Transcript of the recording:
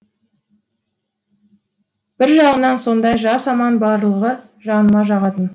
бір жағынан сондай жас анам барлығы жаныма жағатын